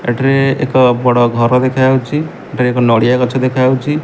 ଏଠାରେ ଏକ ବଡ଼ ଘର ଦେଖାଯାଉଛି ଏଠାରେ ଏକ ନଡ଼ିଆ ଗଛ ଦେଖାଯାଉଛି।